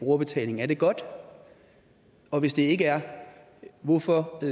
brugerbetaling er det godt og hvis det ikke er hvorfor